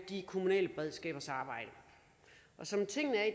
de kommunale beredskabers arbejde som tingene er i